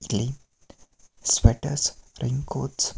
ಇಲ್ಲಿ sweater raincoat ಗಳು--